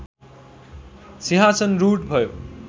सिंहासन रूढ भयो